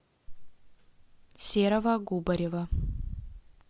серого губарева